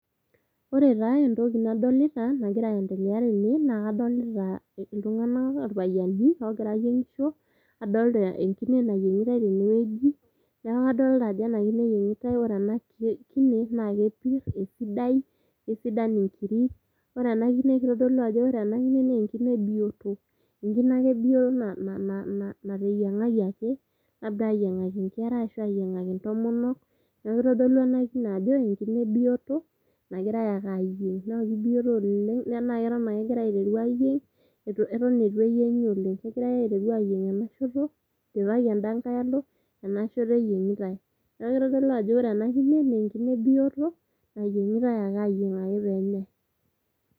ore taa entoki nadolita nagira aendelea tene naa kadolita iltung'anak irpayiani ogira ayieng'isho adolta enkine nayieng'itae tenewueji neeku kadolta ajo ena kine eyieng'itae ore ena kine naa kepirr esidai isidan inkiri ore ena kine kitodolu ajo ore ena kine naa enkine bioto enkine ake bioto naa nateyiang'aki ake labda ayieng'aki inkera ashu ayiang'aki intomonok niaku kitodolu ena kine ajo enkine biyoto nagirae ake ayieng naa kibioto oleng naa keton akegirae aiteru ayieng eton etu eyieng'i oleng kegirae aiteru ayieng ena shoto idipaki enda nkae alo enashoto eyieng'itae neeku kitodolu ajo wore ena kine naa enkine bioto nayieng'itae ake ayieng ake penyae.